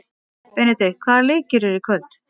Benidikt, hvaða leikir eru í kvöld?